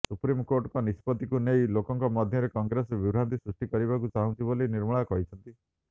supreme କୋର୍ଟଙ୍କ ନିଷ୍ପତ୍ତିକୁ ନେଇ ଲୋକଙ୍କ ମଧ୍ୟରେ କଂଗ୍ରେସ ବିଭ୍ରାନ୍ତି ସୃଷ୍ଟି କରିବାକୁ ଚାହୁଛି ବୋଲି ନିର୍ମଳା କହିଛନ୍ତି